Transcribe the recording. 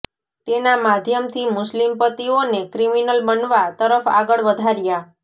તેના માધ્યમથી મુસ્લિમ પતિઓને ક્રિમિનલ બનવા તરફ આગળ વધાર્યા